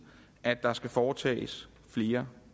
at der skal foretages flere